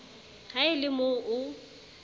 ha e le mo o